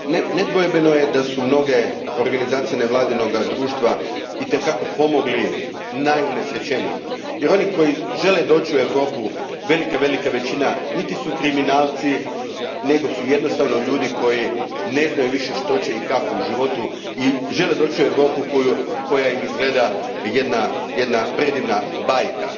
Nedvojbeno je da su mnoge organizacije nevladinoga društva itekako pomogle najunesrećenijima jer oni koji žele doći u Europu, velika, velika većina, nisu kriminalci nego su jednostavno ljudi koji ne znaju više što će i kako u životu i žele doći u Europu koja im izgleda kao jedna predivna bajka.